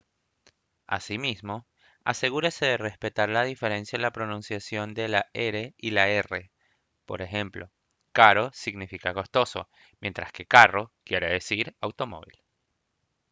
asimismo asegúrese de respetar la diferencia en la pronunciación de la r y la rr por ejemplo caro significa costoso mientras que carro quiere decir automóvil